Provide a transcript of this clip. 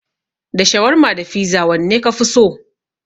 Da shawarma da fiza wanne kafi so?